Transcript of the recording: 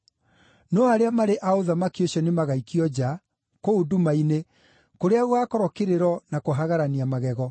No arĩa marĩ a ũthamaki ũcio nĩmagaikio nja, kũu nduma-inĩ, kũrĩa gũgaakorwo kĩrĩro na kũhagarania magego.”